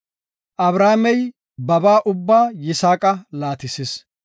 Abrahaamey babaa ubbaa Yisaaqa laatisis.